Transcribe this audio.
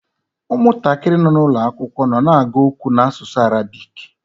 Ụmụntakịrị nọ n’ụlọ akwụkwọ nọ na-agụ okwu n’asụsụ Arabik.